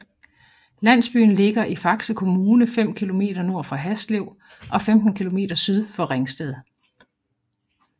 Landsbyen ligger i Faxe Kommune 5 kilometer nord for Haslev og 15 kilometer syd for Ringsted